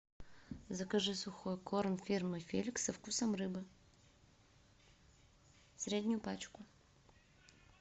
закажи сухой корм фирмы феликс со вкусом рыбы среднюю пачку